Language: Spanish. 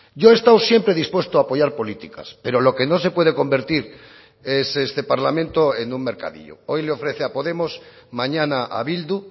yo he estado siempre dispuesto a apoyar políticas pero lo que no se puede convertir es este parlamento en un mercadillo hoy le ofrece a podemos mañana a bildu